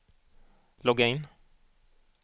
logga in